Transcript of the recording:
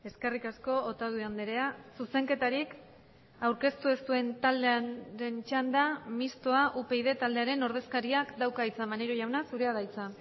eskerrik asko otadui andrea zuzenketarik aurkeztu ez duen taldearen txanda mistoa upyd taldearen ordezkariak dauka hitza maneiro jauna zurea da hitza